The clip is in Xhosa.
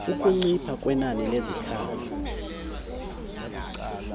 ukuncipha kwenani lezikhalo